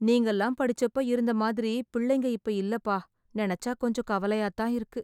நீங்கல்லாம் படிச்சப்ப இருந்த மாதிரி பிள்ளைங்க இப்ப இல்லப்பா. நினச்சா கொஞ்சம் கவலையா தான் இருக்கு.